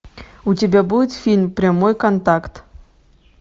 у тебя будет фильм прямой контакт